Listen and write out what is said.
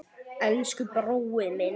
Elsku brói minn.